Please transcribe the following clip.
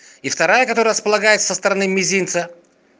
и вторая которая располагается со стороны мизинца